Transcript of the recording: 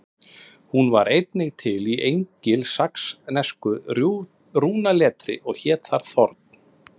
Hún var einnig til í engilsaxnesku rúnaletri og hét þar þorn.